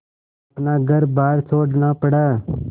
अपना घरबार छोड़ना पड़ा